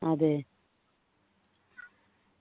അതെ